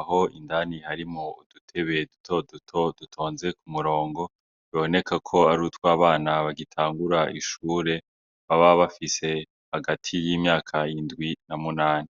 aho indani harimwo udutebe duto duto dutonze ku murongo, biboneka ko arutwa bana bagitangura ishure, baba bafise hagati y’imyaka indwi n’amunane.